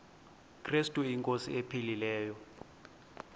krestu inkosi ephilileyo